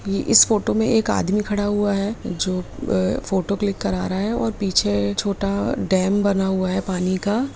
ये इस फोटो में एक आदमी खड़ा हुआ है जो ए फोटो क्लिक करा रहा है और पीछे छोटा डैम बना हुआ है पानी का।